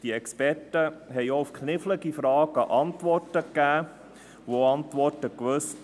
Die Experten gaben auch auf knifflige Fragen Antworten und wussten zu antworten.